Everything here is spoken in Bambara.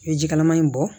I bɛ jikalaman in bɔ